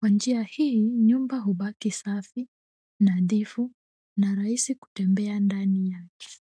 Kwa njia hii nyumba hubaki safi nadhifu na rahisi kutembea ndani yake.